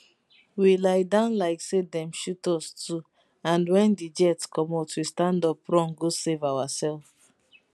we lie down like say dem shoot us too and wen di jet comot we stand up run go save ourself